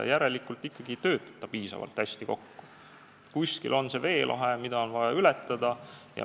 Järelikult asjad ei tööta ikkagi piisavalt hästi kokku, kuskil on see veelahe, mis on vaja ületada.